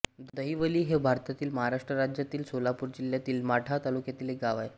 दहिवली हे भारतातील महाराष्ट्र राज्यातील सोलापूर जिल्ह्यातील माढा तालुक्यातील एक गाव आहे